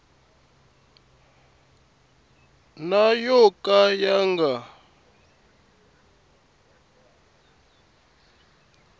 na yo ka ya nga